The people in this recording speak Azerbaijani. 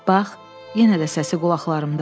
Bax, yenə də səsi qulaqlarımdadır.